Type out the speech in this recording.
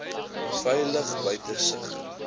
veilig buite sig